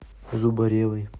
зубаревой